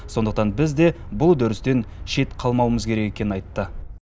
сондықтан біз де бұл үдерістен шет қалмауымыз керек екенін айтты